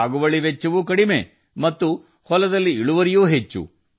ಸಾಗುವಳಿ ವೆಚ್ಚವೂ ಕಡಿಮೆ ಹೊಲಗಳಲ್ಲಿ ಇಳುವರಿಯೂ ಹೆಚ್ಚು